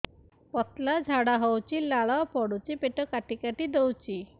ପତଳା ଝାଡା ହଉଛି ଲାଳ ପଡୁଛି ପେଟ କାଟି କାଟି ଦଉଚି